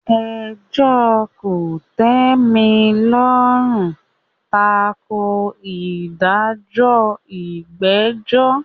Ẹjọ́ kòtẹ́milọ́rùn tako ìdájọ́ ìgbẹ́jọ́.